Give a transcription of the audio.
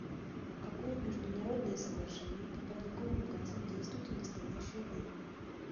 какое международное соглашение по парниковым газам действует в настоящее время